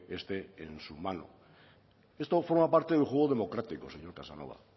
esté en su mano esto forma parte del juego democrático señor casanova